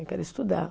Eu quero estudar.